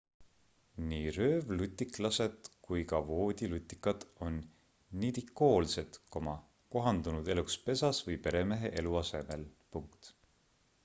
nii röövlutiklased kui ka voodilutikad on nidikoolsed kohandunud eluks pesas või peremehe eluasemel